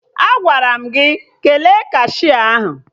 Agwara m gị kele kashia ahụ!